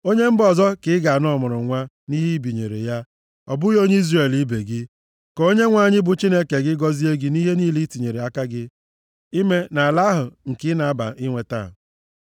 Onye mba ọzọ ka ị ga-ana ọmụrụnwa nʼihe i binyere ya, ọ bụghị onye Izrel ibe gị. Ka Onyenwe anyị bụ Chineke gị gọzie gị nʼihe niile i tinyere aka gị ime nʼala ahụ nke ị na-aba inweta.